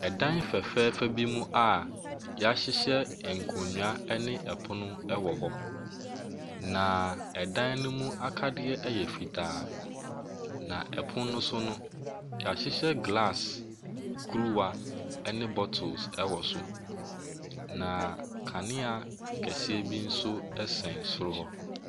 Ɛdan fɛfɛɛfɛ bi mu a wɔahyehyɛ nkonnwa no ɛpono wɔ hɔ, naaa ɛdan no mu akadeɛ yɛ fitaa, na ɛpono no nso no, wɔahyehyɛ glass kuruwa ne bottles wɔ so, na kanea kɛseɛ bi nso sɛn soro hɔ.